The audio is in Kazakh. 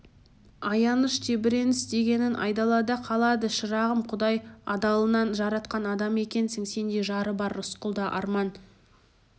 аяныш тебіреніс дегенін айдалада қалады шырағым құдай адалынан жаратқан адам екенсің сендей жары бар рысқұлда арман